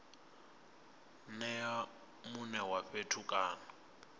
nea mune wa fhethu kana